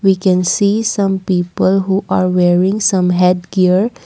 we can see some people who are wearing some headcare.